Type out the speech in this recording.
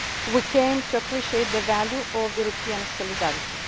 run up to the Vilnius summit, we came to appreciate the value